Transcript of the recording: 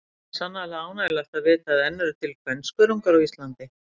Það er sannarlega ánægjulegt að vita að enn eru til kvenskörungar á Íslandi.